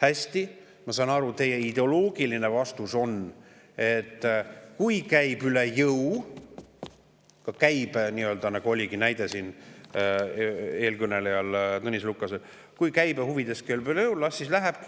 Hästi, ma saan aru, et teie ideoloogiline vastus on, et kui käib üle jõu – see näide oligi Tõnis Lukasel –, las siis käibe huvides